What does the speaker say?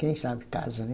Quem sabe casa, né?